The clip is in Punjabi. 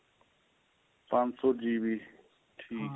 ਪੰਜ ਸ਼ੋ GB ਠੀਕ ਏ